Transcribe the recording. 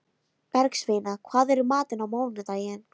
Bergsveina, hvað er í matinn á mánudaginn?